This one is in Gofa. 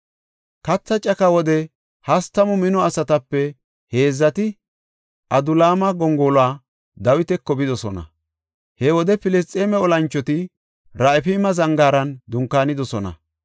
Katha caka wode hastamu mino asatape heedzati Adulaama gongoluwa Dawitako bidosona. He wode Filisxeeme olanchoti Raafayme zangaaran dunkaanidosona.